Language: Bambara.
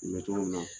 N bɛ cogo min na